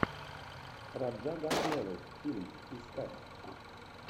раджа госнелл фильм искать